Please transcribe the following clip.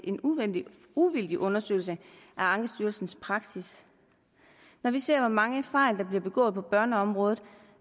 en uvildig uvildig undersøgelse af ankestyrelsens praksis når vi ser hvor mange fejl der bliver begået på børneområdet